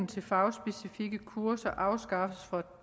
til fagspecifikke kurser afskaffes fra